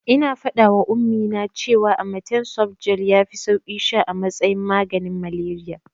Ina faɗawa Ummi cewa amatem softgel yafi sauki sha a matsayin maganin malariya.